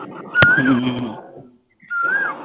হম